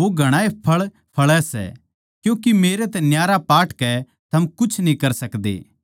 वो घणाए फळ फळै सै क्यूँके मेरै तै न्यारे पाटकै थम कुछ न्ही कर सकदे